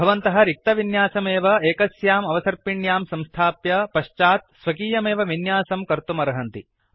भवन्तः रिक्तविन्यासमेव एकस्याम् अवसर्पिण्यां संस्थाप्य पश्चात् स्वकीयमेव विन्यासं कर्तुमर्हन्ति